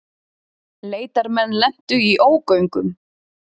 Leitarmenn lentu í ógöngum